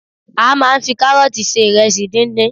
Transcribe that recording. A máa ń fi kárọ́ọ̀tì se ìrẹsì díndín.